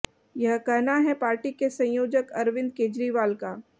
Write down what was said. यह कहना है पार्टी के संयोजक अरविंद केजरीवाल का